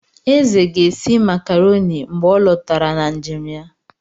Eze ga-esi makarọni mgbe ọ lọtara na njem ya.